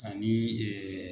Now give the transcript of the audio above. Ani